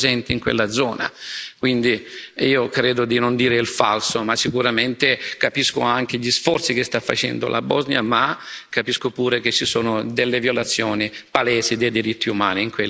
Quindi, io credo di non dire il falso, ma sicuramente capisco anche gli sforzi che sta facendo la Bosnia, ma capisco pure che ci sono delle violazioni palesi dei diritti umani in quella regione.